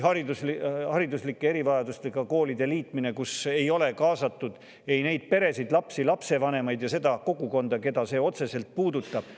Hariduslike erivajadustega koolide liitmisse ei ole kaasatud neid peresid – lapsi, lapsevanemaid – ega seda kogukonda, keda see otseselt puudutab.